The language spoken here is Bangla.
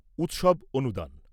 উৎসব অনুদান